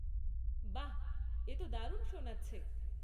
বাহ...এ তো দারুণ শোনাচ্ছে!